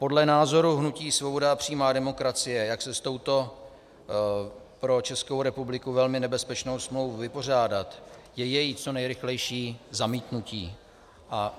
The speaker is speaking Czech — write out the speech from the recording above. Podle názoru hnutí Svoboda a přímá demokracie, jak se s touto pro Českou republiku velmi nebezpečnou smlouvou vypořádat, je její co nejrychlejší zamítnutí.